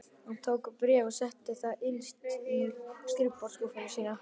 Hann tók bréfið og setti það innst í skrifborðsskúffuna sína.